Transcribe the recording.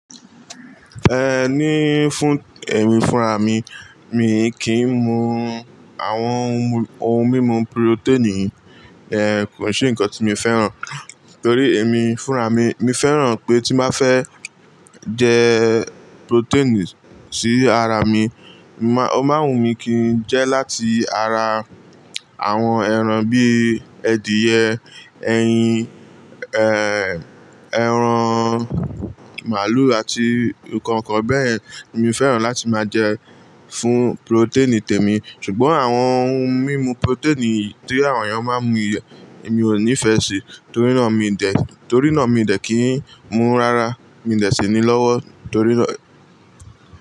Ẹ ni fún, ẹ̀mí fúnra mi, mi kì í mu àwọn ohun mímu purotẹ́ẹ̀nì, kò ṣe nǹkan tí mi fẹ́ràn, torí èmi fúnra mi, mi fẹ́ràn pé tí n bá fẹ́ jẹ purotẹ́ẹ̀nì sí ara mi, má, ó má wù mí kí n jẹ láti ara àwọn ẹran bí i edìyẹ, ẹyin, ẹran màlúù àti nnkankan bẹ́yẹ̀n. Mi fẹ́ràn láti máa jẹ fún purotẹ́ẹ̀nì tèmi, ṣùgbọ́n àwọn ohun mímu purotẹ́ẹ̀nì tí àwọn èèyàn máa ń mu yen, emi ò nífẹ̀ẹ́ sì, torí náà mi dẹ̀, torí náà mi dẹ̀ kì í mu rárá, mi dẹ̀ ṣe ni lọ́wọ́ torí náà.